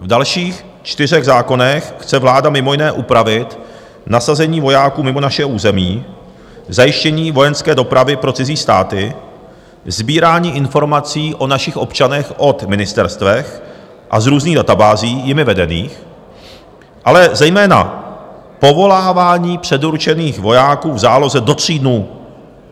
V dalších čtyřech zákonech chce vláda mimo jiné upravit nasazení vojáků mimo naše území, zajištění vojenské dopravy pro cizí státy, sbírání informací o našich občanech od ministerstev a z různých databází jimi vedených, ale zejména povolávání předurčených vojáků v záloze do tří dnů.